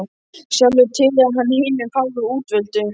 Sjálfur tilheyrði hann hinum fáu útvöldu.